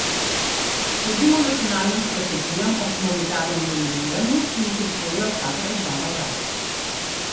Sledimo nacionalnim strategijam o humanitarnem deminiranju, ki jih je sprejela vsaka država zase.